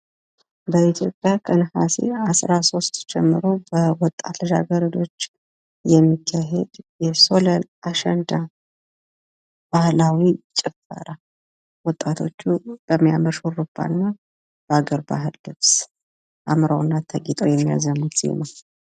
በኢትዮጵያ ከነሀሴ 13 ጀምሮ በወጣት ልጃገረዶች የሚካሄድ የሶለን፣ አሸንዳ ባህላዊ ጭፈራ። ወጣቶቹ በሚያምር ሹሩባና በአገር ባህል ልብስ አምረውና ተውበው የሚያዜሙት ዜማ።